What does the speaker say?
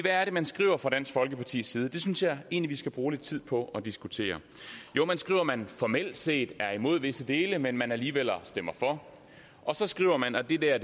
er det man skriver fra dansk folkepartis side det synes jeg egentlig vi skal bruge lidt tid på at diskutere jo man skriver at man formelt set er imod visse dele men at man alligevel stemmer for og så skriver man og det det er